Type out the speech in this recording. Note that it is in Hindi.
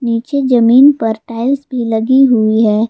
नीचे जमीन पर टाइल्स भी लगी हुई हैं।